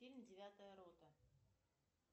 фильм девятая рота